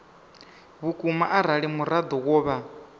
vhukuma arali muraḓo wo vha